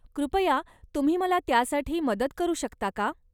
कृपया तुम्ही मला त्यासाठी मदत करू शकता का?